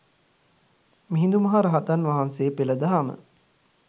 මිහිඳු මහරහතන් වහන්සේ පෙළ දහම